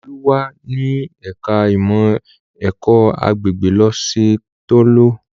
Olú wà ní ẹ̀ka-ìmọ̀ ẹ̀kọ́-agbègbè lọ́sẹ̀ tó lọ.